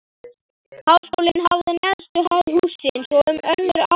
Háskólinn hafði neðstu hæð hússins og um önnur afnot